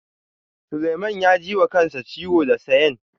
Suleiman ya ji wa kansa ciwo da sayen.